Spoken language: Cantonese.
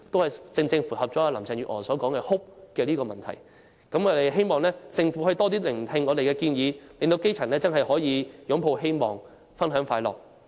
這正正符合了林鄭月娥所說的 "hope"， 而我也希望政府可以多聆聽我們的建議，令基層真的可以擁抱希望和分享快樂。